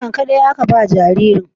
Nono ƙaɗai aka ba jaririn?